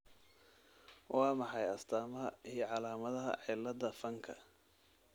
Waa maxay astamaha iyo calaamadaha cilada fanka ?